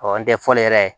Ɔ an tɛ fɔli yɛrɛ